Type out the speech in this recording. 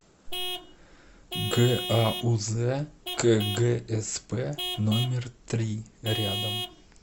гауз кгсп номер три рядом